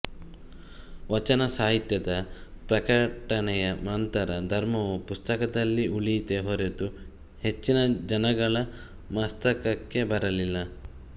ವಚನ ಸಾಹಿತ್ಯದ ಪ್ರಕಟಣೆಯ ನಂತರ ಧರ್ಮವು ಪುಸ್ತಕದಲ್ಲಿ ಉಳಿಯಿತೇ ಹೊರತು ಹೆಚ್ಚಿನ ಜನಗಳ ಮಸ್ತಕಕ್ಕೆ ಬರಲಿಲ್ಲ